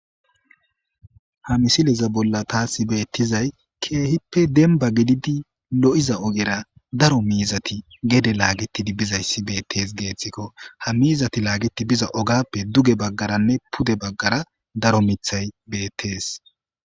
Ha misileza bolla taasi beettizay keehippe denba gididi lo'iza ogera daro miizati gede laagitidi bizayssi beettees geethtikko ha miizati laagiti biza ogappe duge baggaranne pude baggara daro mithay beettees